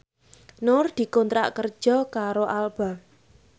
Nur dikontrak kerja karo Alba